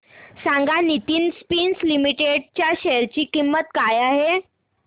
सांगा Nitin Spinners Limited च्या share ची किंमत काय आहे